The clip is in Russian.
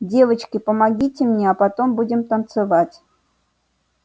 девочки помогите мне а потом будем танцевать